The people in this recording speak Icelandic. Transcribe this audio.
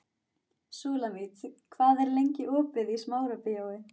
Súlamít, hvað er lengi opið í Smárabíói?